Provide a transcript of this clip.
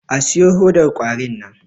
A siyo hodar kwarin nan!